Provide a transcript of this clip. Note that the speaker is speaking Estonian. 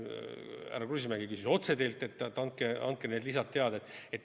Härra Kruusimäe küsis otse teilt, et nimetage need lisad.